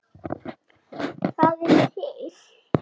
Það er til